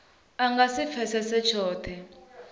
a nga si pfesese tshothe